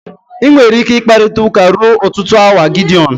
Ị nwere ike ịkparịta ụka ruo ọtụtụ awa Gideọn